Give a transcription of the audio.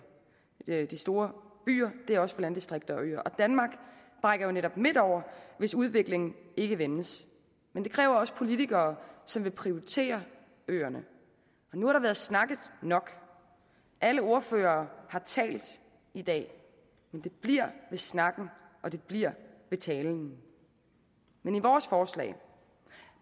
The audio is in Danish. de store byer det er også for landdistrikter og øer og danmark brækker jo netop midt over hvis udviklingen ikke vendes men det kræver også politikere som vil prioritere øerne nu har der været snakket nok alle ordførere har talt i dag men det bliver ved snakken og det bliver ved talen men i vores forslag